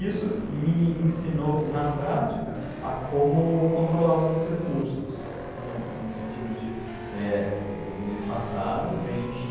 Isso me ensinou na prática a como controlar os meus recursos, né, no sentido de, eh, o mês passado eu ganhei